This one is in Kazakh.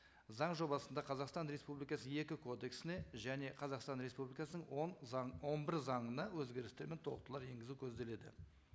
заң жобасында қазақстан республикасы екі кодексіне және қазақстан республикасының он заң он бір заңына өзгерістер мен толықтырулар енгізу көзделеді